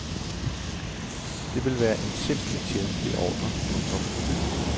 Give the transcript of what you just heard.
Det vil være en simpel tjenstlig ordre. punktum